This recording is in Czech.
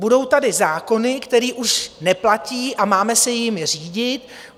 Budou tady zákony, které už neplatí, a máme se jimi řídit.